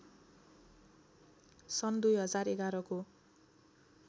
सन् २०११ को